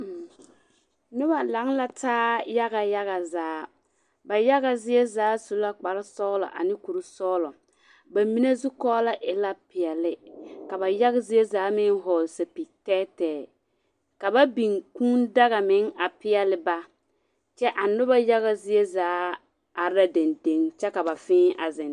Noba laŋ la taa yaya yaga zaa. Ba yaga zie zaa su la kparesɔgelɔ ane kurisɔglɔ. Ba mine zu kɔɔlɔ e la peɛle, ka ba yaga zie zaa meŋ a hɔgle sapig-tɛɛtɛɛ, ka ba biŋ kũũ daga meŋ a peɛle ba, kyɛ a noba yaga zie zaa are la dendeŋ kyɛ ka ba fẽẽ a zeŋ teŋɛ